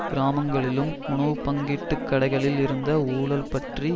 கிராமங்களிலும் உணவு பங்கீட்டுக் கடைகளில் இருந்த ஊழல் பற்றி